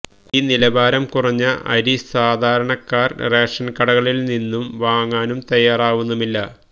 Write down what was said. ഈ നിലവാരം കുറഞ്ഞ അരി സാധാരണക്കാര് റേഷന്കടകളില്നിന്നും വാങ്ങാനും തയ്യാറാവുന്നുമില്ല